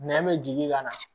Nɛ bɛ jigin ka na